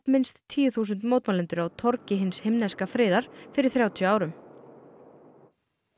minnst tíu þúsund mótmælendur á torgi hins himneska friðar fyrir þrjátíu árum